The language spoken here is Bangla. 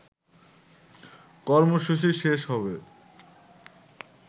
কর্মসূচি শেষ হবে